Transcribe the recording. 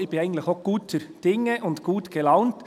Denn ich bin eigentlich auch guter Dinge und gut gelaunt.